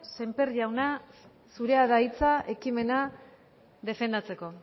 sémper jauna zurea da hitza ekimena defendatzeko